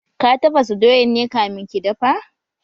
Ka tafasa doyan ne kamin ki dafa?